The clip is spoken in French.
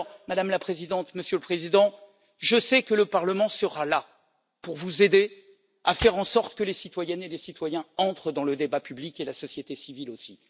Madame la Présidente, Monsieur le Président, je sais que le Parlement sera là pour vous aider à faire en sorte que les citoyennes et les citoyens entrent dans le débat public et la société civile aussi.